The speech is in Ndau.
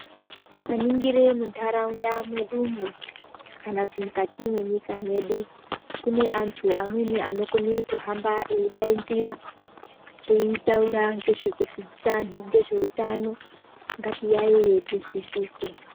Tikaningire mundarawunda medu mo, kana kuti mukati menyika medu, kune antu amweni anokone kuhamba, eyidayidzira, eyitawura ngezvekudzidzisa anu ngezvewutano. Ngatiyayeye tizvisise.